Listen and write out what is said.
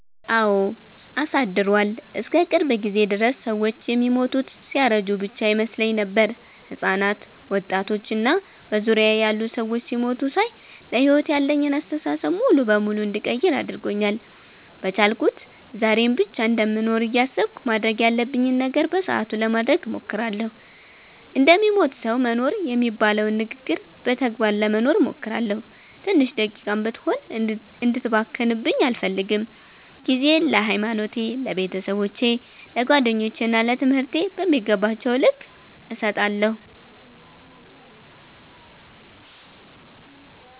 አወ አሳድሯል። እስከ ቅርብ ጊዜ ድረስ ሰወች የሚሞቱት ሲያረጁ ብቻ ይመስለኝ ነበር። ህጻናት፣ ወጣቶች እና በዙሪያየ ያሉ ሰዎች ሲሞቱ ሳይ ለሕይወት ያለኝን አስተሳሰብ ሙሉ በሙሉ እንድቀይር አድርጎኛል። በቻልኩት ዛሬን ብቻ እንደምኖር እያሰብኩ ማድረግ ያለብኝን ነገር በሰአቱ ለማድረግ እሞክራለሁ። እንደሚሞት ሰዉ መኖር የሚባለውን ንግግር በተግባር ለመኖር እሞክራለሁ። ትንሽ ደቂቃም ብትሆን እንድትባክንብኝ አልፈልግም። ጊዜየን ለሀይማኖቴ፣ ለቤተሰቦቼ፣ ለጓደኞቼ እና ለትምህርቴ በሚገባቸዉ ልክ እሰጣለሁ።